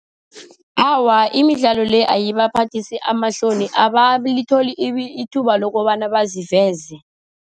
Awa, imidlalo le ayibaphathisi amahloni, abalitholi ithuba lokobana baziveze.